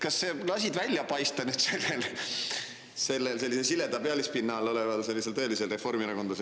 Kas sa lasid välja paista sellel sileda pealispinna all oleval tõelisel reformierakondlasel?